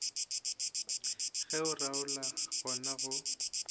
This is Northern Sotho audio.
ge o realo gona go